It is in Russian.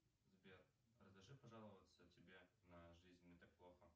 сбер разреши пожаловаться тебе на жизнь мне так плохо